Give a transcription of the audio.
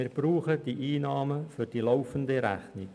Wir brauchen die Einnahmen für die laufende Rechnung.